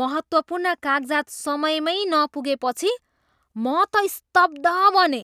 महत्त्वपूर्ण कागजात समयमै नपुगेपछि म त स्तब्ध बनेँ।